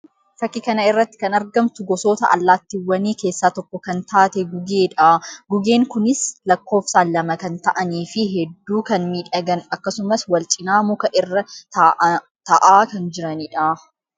Fakkii kana irratti kan argamtu gosoota allaattiiwwanii keessaa tokko kan taate Gugee dha. Gugeen kunis lakkoofsaan lama kan ta'anii fi hedduu kan miidhagan akkasumas wal cina muka irra ta'aa kan jiranii dha.